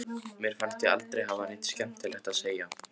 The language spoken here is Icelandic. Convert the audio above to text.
Mér fannst ég aldrei hafa neitt skemmtilegt að segja.